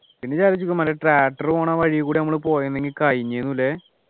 പിന്നെ ഇത് ആലോചിച്ച് നോക്ക്മ്പോ വല്ല tractor പോണ വഴിയി കൂടെ നമ്മൾ പോയെ ന്നെങ്കിൽ കഴിഞ്ഞു ന്നു അല്ലെ